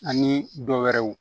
Ani dɔ wɛrɛw